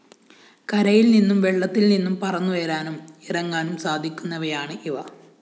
കരയില്‍ നിന്നും വെള്ളത്തില്‍ നിന്നും പറന്നുയരാനും ഇറങ്ങാനും സാധിക്കുന്നവയാണ് ഇവ